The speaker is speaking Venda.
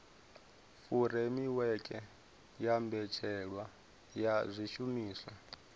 furemiweke ya mbetshelwa ya zwishumiswa